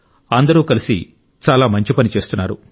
అందరూ కలిసి చాలా మంచి పని చేస్తున్నారు